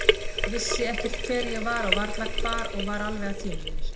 Ég vissi ekkert hver ég var og varla hvar og var alveg að týna mér.